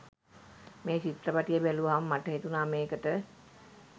මේ චිත්‍රපටය බැලුවහම මට හිතුණා මේකට